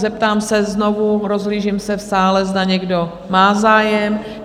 Zeptám se znovu, rozhlížím se v sále, zda někdo má zájem?